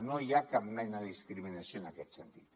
no hi ha cap mena de discriminació en aquest sentit